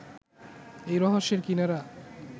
এই রহস্যের কিনারা